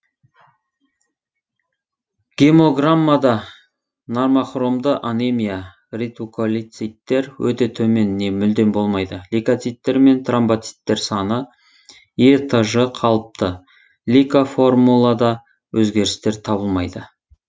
гемограммада нормохромды анемия ретикулоциттер өте төмен не мүлдем болмайды лейкоциттер мен тромбоциттер саны этж қалыпты лейкоформулада өзгерістер табылмайды